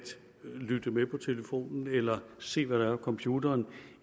lytte med på telefonen eller se hvad der er på computeren